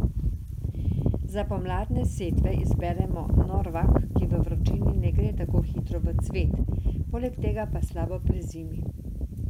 Za pomladne setve izberemo norvak, ki v vročini ne gre tako hitro v cvet, poleg tega pa slabo prezimi.